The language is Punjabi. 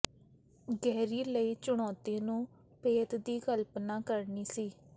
ਗੇਹਰੀ ਲਈ ਚੁਣੌਤੀ ਨੂੰ ਭੇਤ ਦੀ ਕਲਪਨਾ ਕਰਨੀ ਸੀ